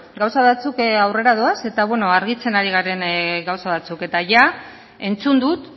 gauza batzuk aurrera doaz eta argitzen ari garen gauza batzuk eta entzun dut